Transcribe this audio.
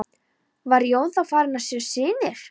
Var Jón þá farinn að sjá sýnir.